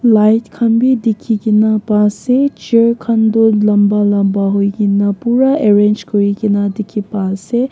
light khan bi dikhi kene pa ase chair khan toh lamba lamba hoi kene pura arrange kuri kene dikhi pa ase.